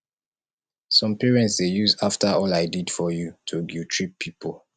some parents dey use after all i did for you to guilttrip pipo